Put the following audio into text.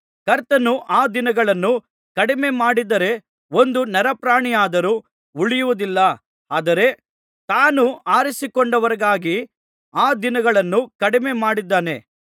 ಕರ್ತನು ಆ ದಿನಗಳನ್ನು ಕಡಿಮೆ ಮಾಡದಿದ್ದರೆ ಒಂದು ನರಪ್ರಾಣಿಯಾದರೂ ಉಳಿಯುವುದಿಲ್ಲ ಆದರೆ ತಾನು ಆರಿಸಿಕೊಂಡವರಿಗಾಗಿ ಆ ದಿನಗಳನ್ನು ಕಡಿಮೆ ಮಾಡಿದ್ದಾನೆ